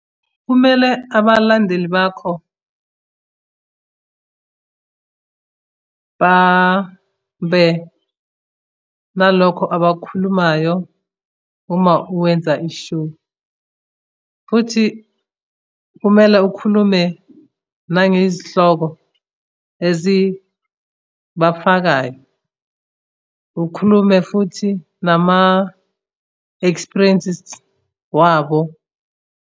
Kumele abalandeli bakho babe nalokho abakukhulumayo uma wenza i-show, futhi kumela ukhulume nangezihloko ezibafakayo. Ukhulume futhi nama-experiences wabo.